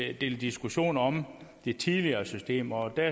en del diskussioner om det tidligere system og der